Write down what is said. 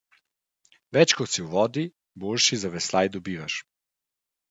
Več kot si v vodi, boljši zaveslaj dobivaš.